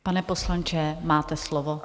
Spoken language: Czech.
Pane poslanče, máte slovo.